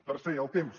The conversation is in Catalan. tercer el temps